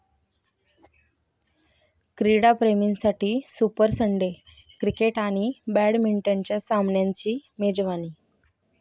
क्रीडाप्रेमींसाठी super Sunday! Cricket आणि बॅडमिंटनच्या सामन्यांची मेजवानी